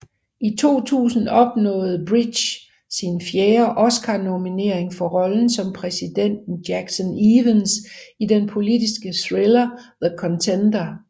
I 2000 opnåede Bridges sin fjerde Oscarnominering for rollen som præsidenten Jackson Evans i den politiske thriller The Contender